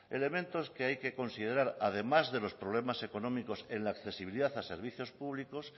elementos que hay que considerar además de los problemas económicos en la accesibilidad a servicios públicos